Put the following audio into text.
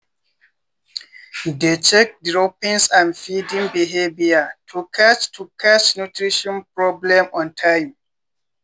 dey check droppings and feeding behavior to catch to catch nutrition problem on time.